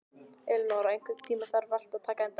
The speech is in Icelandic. Elinóra, einhvern tímann þarf allt að taka enda.